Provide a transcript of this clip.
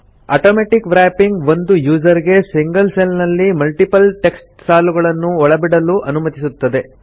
automatic wrapping ಒಂದು user ಗೆ single cell ನಲ್ಲಿ ಮಲ್ಟಿಪಲ್ ಟೆಕ್ಸ್ಟ್ ಸಾಲುಗಳನ್ನು ಒಳಬಿಡಲು ಅನುಮತಿಸುತ್ತದೆ